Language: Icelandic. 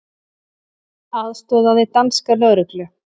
Aðstoðaði danska lögreglu